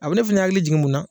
A bi ne fɛnɛ hakili jigin mun na